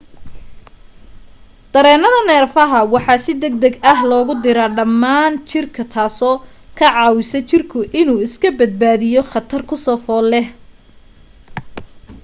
dareenada neerfaha waxa si degdeg ah loogu diraa dhammaan jirka taasoo ka caawisa jirka inuu iska badbaadiyo khatar ku soo fool leh